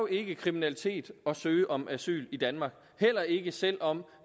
ikke kriminalitet at søge om asyl i danmark heller ikke selv om